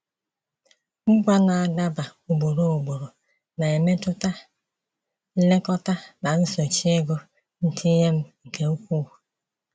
Ngwa na-adaba ugboro ugboro na-emetụta nlekọta na nsochi ego ntinye m nke ukwuu.